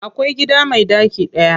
Akwai gida me ɗaki daya.